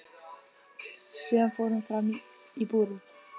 Síðan fór hún fram í búrið.